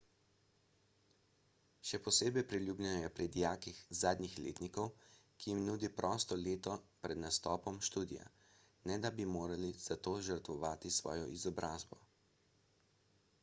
še posebej priljubljeno je pri dijakih zadnjih letnikov saj jim nudi prosto leto pred nastopom študija ne da bi morali za to žrtvovati svojo izobrazbo